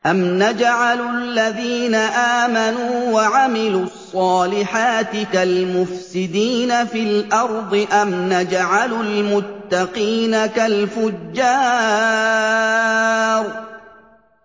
أَمْ نَجْعَلُ الَّذِينَ آمَنُوا وَعَمِلُوا الصَّالِحَاتِ كَالْمُفْسِدِينَ فِي الْأَرْضِ أَمْ نَجْعَلُ الْمُتَّقِينَ كَالْفُجَّارِ